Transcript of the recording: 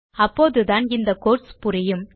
அப்போதுதான் இந்த கோட்ஸ் புரியும்